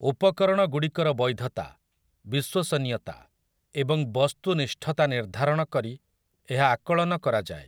ଉପକରଣଗୁଡିକର ବୈଧତା, ବିଶ୍ୱସନୀୟତା ଏବଂ ବସ୍ତୁନିଷ୍ଠତା ନିର୍ଦ୍ଧାରଣ କରି ଏହା ଆକଳନ କରାଯାଏ ।